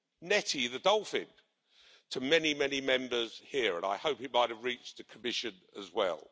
Netty the dolphin to many, many Members here, and I hope he might have reached the Commission as well.